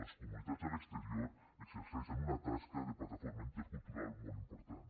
les comunitats a l’exterior exerceixen una tasca de plataforma intercultural molt important